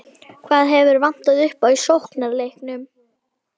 Hvað hefur vantað upp á í sóknarleiknum?